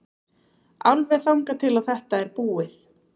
Alveg þangað til að þetta er búið.